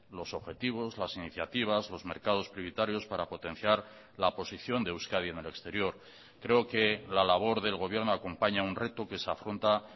los objetivos las iniciativas los mercados prioritarios para potenciar la posición de euskadi en el exterior creo que la labor del gobierno acompaña un reto que se afronta